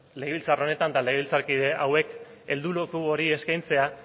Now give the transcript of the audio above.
legebiltzar honetan talde biltzarkide hauek helduleku hori eskaintzea